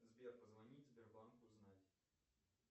сбер позвонить в сбербанк узнать